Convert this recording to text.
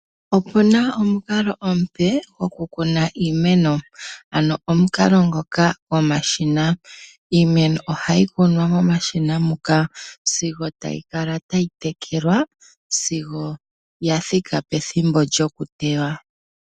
Opu na omukalo omupe gokukuna iimeno, ano omukalo ngoka gomashina. Iimeno ohayi kunwa momashina muka sigo tayi kala tayi tekelwa, sigo ya thika pethimbo lyokuteywa.